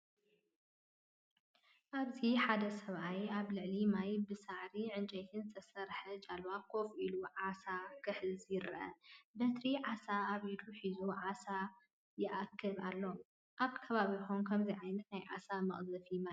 ኣብዚ ሓደ ሰብኣይ ኣብ ልዕሊ ማይ ብሳዕርን ዕንጨይትን ዝተሰርሐት ጃልባ ኮፍ ኢሉ ዓሳ ክሕዝ ይርአ። በትሪ ዓሳ ኣብ ኢዱ ሒዙ ዓሳ ይእክብ ኣሎ። ኣብ ከባቢኩም ከምዚ ዓይነት ናይ ዓሳ መቅዘፊ ማይ ኣለኩም ዶ?